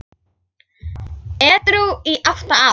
Edrú í átta ár!